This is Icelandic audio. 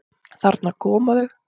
Þarna koma þau!